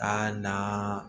Ka na